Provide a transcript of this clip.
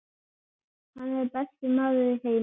Hann er besti maður í heimi.